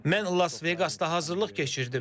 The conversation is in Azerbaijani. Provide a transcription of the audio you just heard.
Mən Las Vegasda hazırlıq keçirdim.